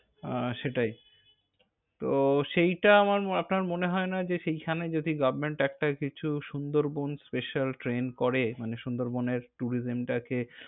আহ সেটাই। তো সেইটা আমার আপনার মনে হয় না যে সেখানে যদি government একটা কিছু সুন্দরবন special train করে মানে, সুন্দরবনের tourism টাকে।